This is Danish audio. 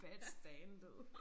Bad standet